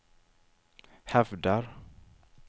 hävdar